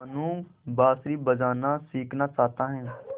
मनु बाँसुरी बजाना सीखना चाहता है